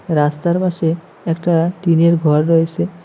রাস্তার পাশে একটা টিন -এর ঘর রয়েসে।